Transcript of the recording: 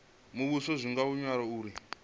muvhuso zwo tanganywa uri zwi